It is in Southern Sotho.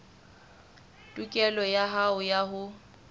tokelo ya hao ya ho